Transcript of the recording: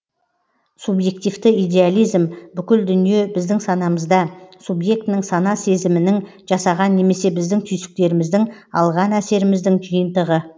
субьъективті идеализм бүкіл дүние біздің санамызда субьектінің сана сезімінің жасаған немесе біздің түйсіктеріміздің алған әсеріміздің жиынтығы